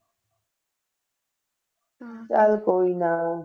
ਚੱਲ ਕੋਈ ਨਾ